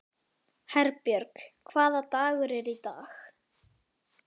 Herbjörg, hvaða dagur er í dag?